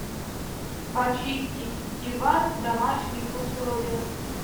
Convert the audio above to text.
почистить диван в домашних условиях